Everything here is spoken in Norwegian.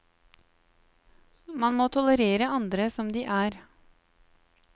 Man må tolerere andre som de er.